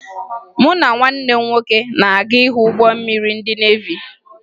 Mụ na nwanne m nwoke na-aga ịhụ ụgbọ mmiri ndị nevi